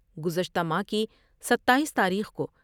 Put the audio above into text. گزشتہ ماہ کی ستاییس تاریخ کو